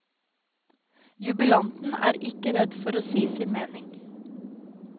Jubilanten er ikke redd for å si sin mening.